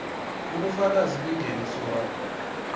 ubufakazi bengeniso wakho